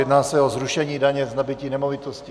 Jedná se o zrušení daně z nabytí nemovitosti.